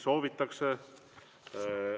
Soovitakse.